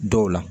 Dɔw la